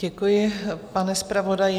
Děkuji, pane zpravodaji.